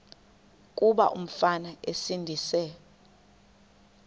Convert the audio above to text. kuba umfana esindise